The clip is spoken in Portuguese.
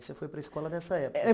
Você foi para a escola nessa época? Eh